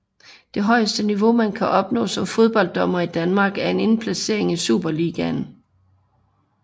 Det højeste niveau man kan opnå som fodbolddommer i Danmark er en indplacering i Superligaen